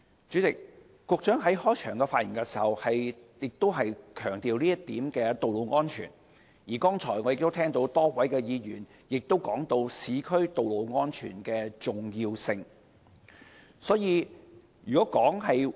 主席，局長在開場發言時強調道路安全這一點，而剛才我亦聽到多位議員談及市區道路安全的重要性。